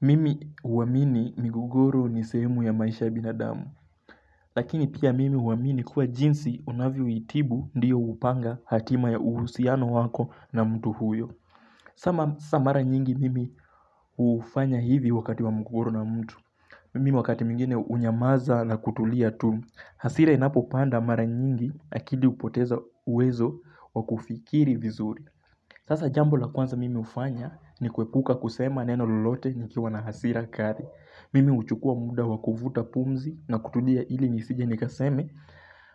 Mimi uwamini migogoro nisehemu ya maisha ya binadamu Lakini pia mimi huaamini kuwa jinsi unavyoitibu ndiyo upanga hatima ya uhusiano wako na mtu huyo. Sama mara nyingi mimi ufanya hivyo wakati wa mgogoro na mtu Mimi wakati mingine unyamaza na kutulia tu. Hasira inapopanda mara nyingi akidi upoteza uwezo wa kufikiri vizuri Sasa jambo la kwanza mimi hufanya ni kuepuka kusema neno lolote nikiwa na hasira kari. Mimi uchukua muda wakuvuta pumzi na kutudia ili nisije nikaseme